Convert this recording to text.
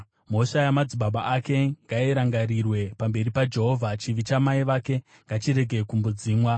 Mhosva yamadzibaba ake ngairangarirwe pamberi paJehovha; chivi chamai vake ngachirege kumbodzimwa.